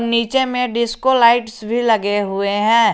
नीचे में disco lights भी लगे हुए हैं।